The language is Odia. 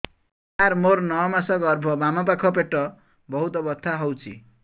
ସାର ମୋର ନଅ ମାସ ଗର୍ଭ ବାମପାଖ ପେଟ ବହୁତ ବଥା ହଉଚି